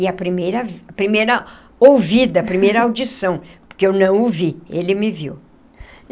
E a primeira a primeira ouvida, a primeira audição, porque eu não o vi, ele me viu.